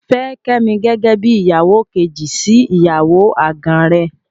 Fẹ́ Kẹ́mi gẹ́gẹ́ bí ìyàwó kejì sí ìyàwó àgàn rẹ.